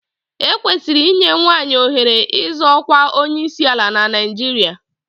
E kwesịrị inye nwaanyị ohere ịzọ ọkwa onyeisiala na Naijiria.